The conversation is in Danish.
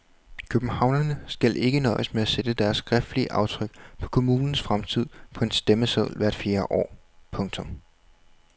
Københavnerne skal ikke nøjes med at sætte deres skriftlige aftryk på kommunens fremtid på en stemmeseddel hvert fjerde år. punktum